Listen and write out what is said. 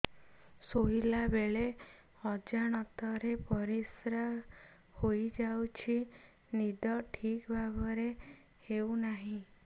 ଶୋଇଲା ବେଳେ ଅଜାଣତରେ ପରିସ୍ରା ହୋଇଯାଉଛି ନିଦ ଠିକ ଭାବରେ ହେଉ ନାହିଁ